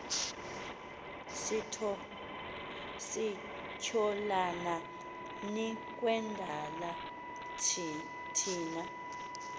sityholana nikwendala thina